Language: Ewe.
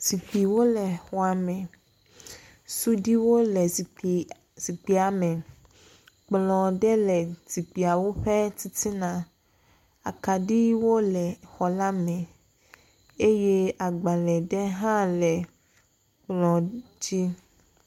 Zikpuiwo le xɔ me, suɖuiwo le zikpuia me, kplɔ ɖe le zikpuiawo ƒe titiana, akaɖiwo le xɔ la me eye agbalẽ ɖe hã le kplɔ dzi.